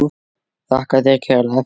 Þakka þér kærlega fyrir.